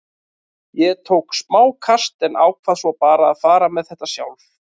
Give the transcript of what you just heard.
Ég tók smá kast en ákvað svo bara að fara með þetta sjálf.